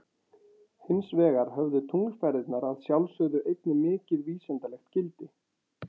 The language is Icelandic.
Hins vegar höfðu tunglferðirnar að sjálfsögðu einnig mikið vísindalegt gildi.